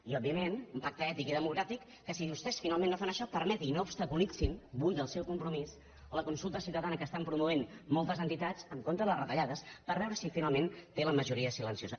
i òbviament un pacte ètic i democràtic que si vostès finalment no fan això permeti no obstaculitzi en vull el seu compromís la consulta ciutadana que estan promovent moltes entitats en contra de les retallades per veure si finalment té la majoria silenciosa